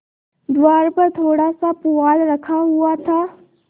द्वार पर थोड़ासा पुआल रखा हुआ था